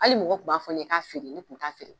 Ali mɔgɔw kun b'a fɔ'ne k'a fieere ne kun t'a feere